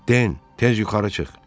Den, tez yuxarı çıx.